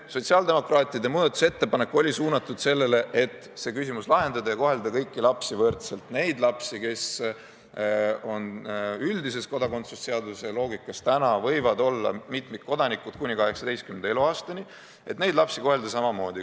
Sotsiaaldemokraatide muudatusettepanek oli suunatud sellele, et see küsimus lahendada ja kohelda kõiki lapsi võrdselt, neid lapsi, kes on üldises kodakondsuse seaduse loogikas ja täna võivad olla mitmikkodanikud kuni 18. eluaastani, kohelda samamoodi.